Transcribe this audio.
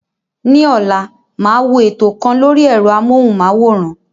Ní ọ̀la, màá wo ètò kan lórí ẹ̀rọ-amóhùnmáwòrán.